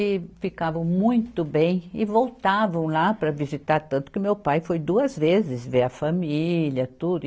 E ficavam muito bem e voltavam lá para visitar tanto que meu pai foi duas vezes ver a família, tudo.